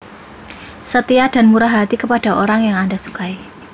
Setia dan murah hati kepada orang yang anda sukai